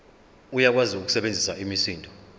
uyakwazi ukusebenzisa imisindo